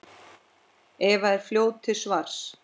Eva er fljót til svars.